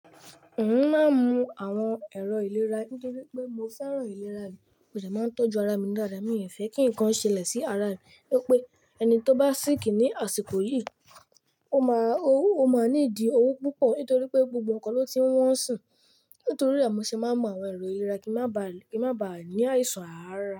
Òun máa ń mu àwọn èrò ìlera. Nítori pé mo fẹ́ràn ìlera mi, ó dà máa ń tọ́jú ara mi dáadáa. Mi ò fẹ́ kí nǹkan ṣẹlẹ̀ sí ara mi. To pé ẹni tó bá ṣíkì ní àsìkò yìí, ó máa ní ìdí òwo púpọ̀ nítorí pé gbogbo ǹkan ló ti ń wọ́n sùn. Nítorí re mo ṣe máa ń mu àwọn èrò ìlera kí wọ́n má ba à ní àìsàn ara.